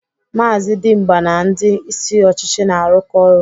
Maazị Dimgba na ndị isi ọchịchị na-arụkọ ọrụ.